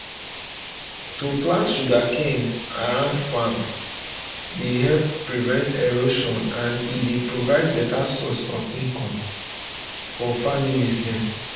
to plant sugercane around farms dey help prevent erosion and e dey provide beta source of income for families dem